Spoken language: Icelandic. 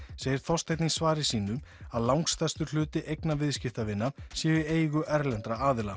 segir Þorsteinn í svari sínu að langstærstur hluti eigna viðskiptavina séu í eigu erlendra aðila